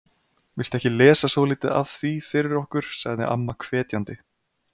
Viltu ekki lesa svolítið af því fyrir okkur sagði amma hvetjandi.